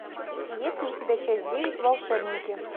есть ли у тебя часть девять волшебники